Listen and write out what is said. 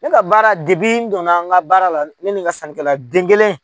Ne ka baara n donna n ka baara la, ne ni ka sannikɛla den kelen.